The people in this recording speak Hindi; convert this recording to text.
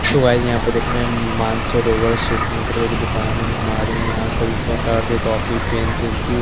सो गाइस यहां पर देख रहे हैं मानसरोवर स्टेशनरी की दुकान है हमारे यहां सभी प्रकार के कॉपी पेन पेंसिल --